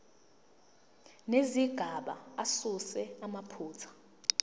nezigaba asuse amaphutha